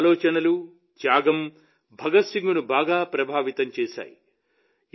ఆయన ఆలోచనలు త్యాగం భగత్ సింగ్ను బాగా ప్రభావితం చేశాయి